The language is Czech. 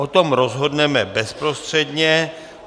O tom rozhodneme bezprostředně.